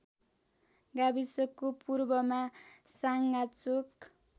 गाविसको पूर्वमा साँगाचोक